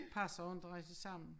Passer jo inte rigtig sammen